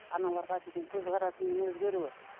аналарға деген көзқарасыңның өзгеруі